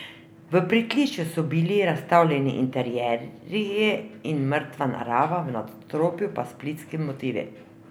V pritličju so bili razstavljeni interierji in mrtva narava, v nadstropju pa splitski motivi.